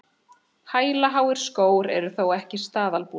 Hælaháir skór eru þó ekki staðalbúnaður